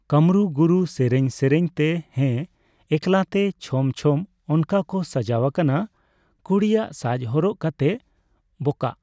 ᱠᱟᱢᱨᱩ ᱜᱩᱨᱩ ᱥᱮᱨᱮᱧ ᱥᱮᱨᱮᱧᱛᱮ ᱦᱮᱸ ᱮᱠᱟᱞᱛᱮ ᱪᱷᱚᱢ-ᱪᱷᱚᱢ ᱚᱱᱠᱟ ᱠᱚ ᱥᱟᱡᱟᱣ ᱠᱟᱱᱟ ᱠᱩᱲᱤᱭᱟᱜ ᱥᱟᱡᱽ ᱦᱚᱨᱚᱜ ᱠᱟᱛᱮᱜ ᱵᱚᱠᱟᱜ